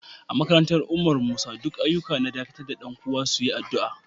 A makarantan Umar Musa, duk ayukoki na dakatar dan kowa su yi addu'a.